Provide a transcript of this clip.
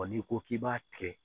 n'i ko k'i b'a kɛ